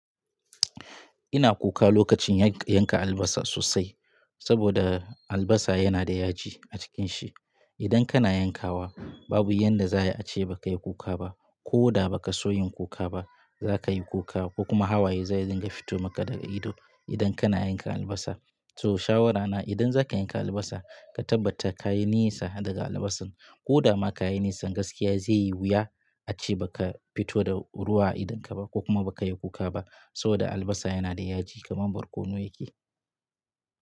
Ina kuka lokacin yanka albasa sosai, saboda albasa yana da yaji a cikin shi. Idan kana yankawa babu yanda za a yi ace baka yi kuka ba, ko da baka so yin kuka ba za ka yi kuka, ko kuma hawaye zai ringa fito maka daga ido idan kana yanka albasa. So shawarana idan zaka yanka albasa ka tabbata ka yi nesa daga albasar ko da ma ka yi nesa gaskiya zai yi wuya a ce baka fito da ruwa a idonka ba ko kuma baka yi kuka ba saboda albasa yana da yaji kamar barkono yake.